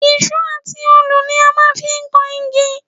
Ìṣó àti òòlù ni a máa ń fi ń kan igi